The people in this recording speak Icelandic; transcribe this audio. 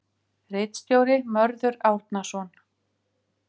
Ritstjóri Mörður Árnason.